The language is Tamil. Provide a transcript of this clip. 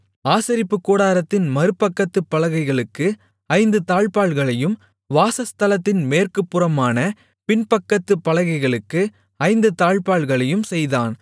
ஆசரிப்புக்கூடாரத்தின் மறுபக்கத்துப் பலகைகளுக்கு ஐந்து தாழ்ப்பாள்களையும் வாசஸ்தலத்தின் மேற்கு புறமான பின்பக்கத்துப் பலகைகளுக்கு ஐந்து தாழ்ப்பாள்களையும் செய்தான்